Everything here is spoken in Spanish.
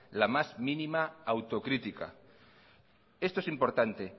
la más mínimo autocrítica esto es importante